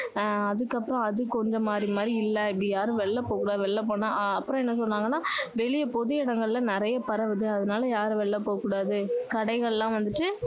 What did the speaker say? ஆஹ் அதுக்கு அப்பறம் அது கொஞ்சம் மாறி மாறி இல்லை அப்படி யாரும் வெளில போக கூடாது வெளில போனா ஆஹ் அப்பறம் என்ன சொன்னாங்கன்னா வெளிய பொது இடங்கள்ல நிறைய பரவுது அதனால யாரும் வெளில போக கூடாது கடைகள் எல்லாம் வந்துட்டு